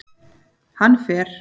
Hann fer